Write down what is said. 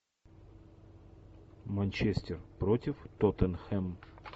манчестер против тоттенхэм